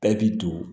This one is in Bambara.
Bɛɛ b'i don